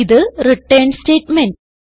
ഇത് return statement